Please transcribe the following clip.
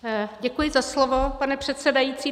Děkuji za slovo, pane předsedající.